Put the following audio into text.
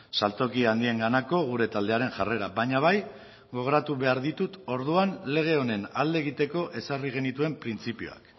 saltoki handienganako gure taldearen jarrera baina bai gogoratu behar dituen orduan lege honen alde egoteko ezarri genituen printzipioak